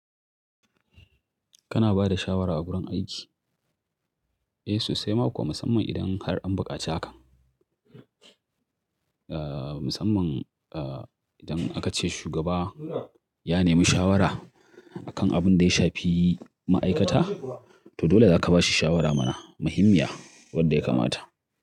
Kana bada shawara a gurin aiki? Eh, sosai, maƙo musamman idan har an buƙaci hakan. Ah, musamman ah, idan aka ce shugaba ya nemi shawara akan abin da ya shafi ma'aikata, to dole zaka ba shi shawara mana muhimmiya wadda ya kamata.